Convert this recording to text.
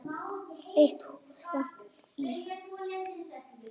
Eitt hús vantar í